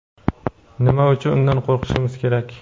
nima uchun undan qo‘rqishimiz kerak?.